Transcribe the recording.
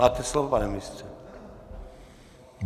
Máte slovo, pane ministře.